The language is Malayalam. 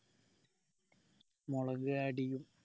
മുളക് add ചെയ്യും